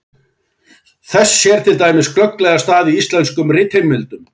Þess sér til dæmis glögglega stað í íslenskum ritheimildum.